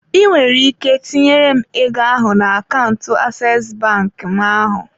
I nwere ike tinyere m ego ahụ na akaụntụ aseesi bank m ahụ.